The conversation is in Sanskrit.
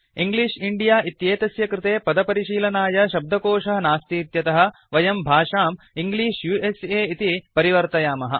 इंग्लिश इण्डिया इत्येतस्य कृते पदपरिशीलनाय शब्दकोशः नास्तीत्यतः वयं भाषां इंग्लिश उस इति परिवर्तयामः